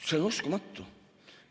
See on uskumatu!